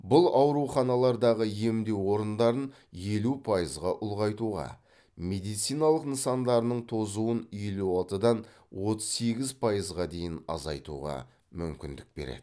бұл ауруханалардағы емдеу орындарын елу пайызға ұлғайтуға медициналық нысандарының тозуын елу алтыдан отыз сегіз пайызға дейін азайтуға мүмкіндік береді